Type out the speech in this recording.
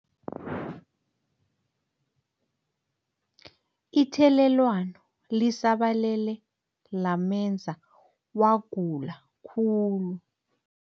Ithelelwano lisabalele lamenza wagula khulu.